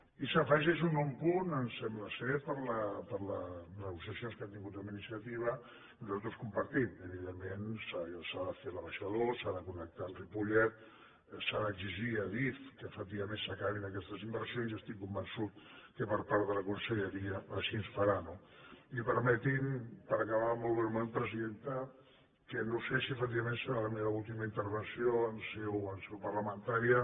i s’afegeix un nou punt sembla per les negociacions que han tingut amb iniciativa que nosaltres compartim evidentment s’ha de fer el baixador s’ha de connectar amb ripollet s’ha d’exigir a adif que efectivament s’acabin aquestes inversions i estic convençut que per part de la conselleria així es farà no i permeti’m per acabar molt breument presidenta que no sé si efectivament serà la meva última intervenció en seu parlamentària